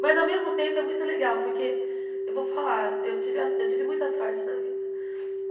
Mas ao mesmo tempo é muito legal, porque eu vou falar, eu tive a eu tive muita sorte na vida.